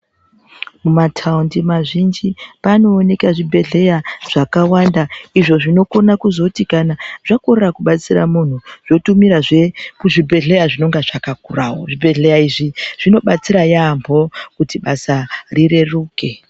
Mumataundi mazhinji panooneka zvibhedhlera zvakàwanda izvo zvinokone kuzoti kana zvakorera kubatsira muntu zvotumira zvee kuzvibhedhleya zvinenge zvakakurawo. Zvibhedhlera izvii zvinobatsira yaambo kuti basa rireruke